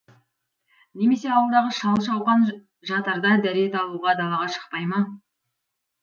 немесе ауылдағы шал шауқан жатарда дәрет алуға далаға шықпай ма